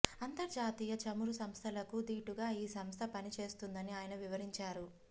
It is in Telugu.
అంతర్జాతీయ చమురు సంస్థలకు దీటుగా ఈ సంస్థ పనిచేస్తుందని ఆయన వివరించారు